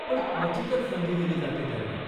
पण क्वचितच संधी दिली जाते त्यांना.